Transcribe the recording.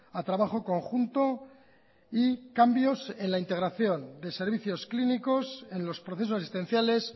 a trabajo conjunto y cambios en la integración de servicios clínicos en los procesos asistenciales